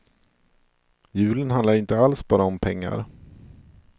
Julen handlar inte alls bara om pengar.